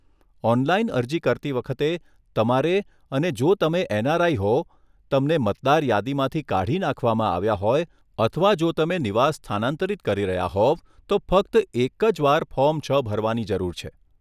online અરજી કરતી વખતે, તમારે અને જો તમે એનઆરઆઈ હો, તમને મતદાર યાદીમાંથી કાઢી નાખવામાં આવ્યા હોય, અથવા જો તમે નિવાસ સ્થાનાંતરિત કરી રહ્યાં હોવ તો ફક્ત એક જ વાર ફોર્મ છ ભરવાની જરૂર છે